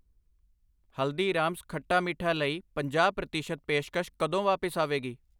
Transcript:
ਹਲਦੀਰਾਮਸ ਖੱਟਾ ਮੀਠਾ ਲਈ ਪੰਜਾਹ ਪ੍ਰਤੀਸ਼ਤ ਪੇਸ਼ਕਸ਼ ਕਦੋਂ ਵਾਪਸ ਆਵੇਗੀ?